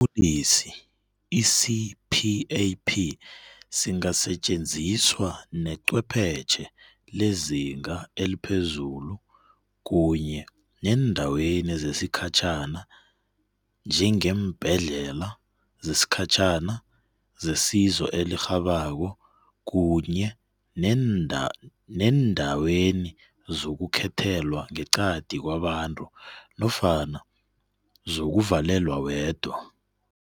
Isiphefumulisi i-CPAP singasetjenziswa necwephetjhe lezinga eliphezulu kunye neendaweni zesikhatjhana, njengeembhedlela zesikhatjhana zesizo elirhabako kunye neendaweni zokukhethelwa ngeqadi kwabantu nofana zokuvalelwa wedwa.